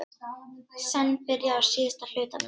Senn byrjað á síðasta hlutanum